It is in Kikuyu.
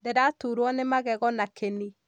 ndîraturwo nî magego na kĩni.